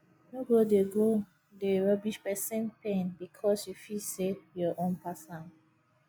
no go dey go dey rubbish pesin pain bikos yu feel sey yur own pass am